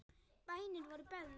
Bænir voru beðnar.